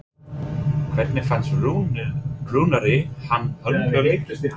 Hvernig fannst Rúnari hann höndla leikinn?